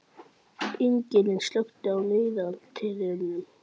Ingilín, slökktu á niðurteljaranum.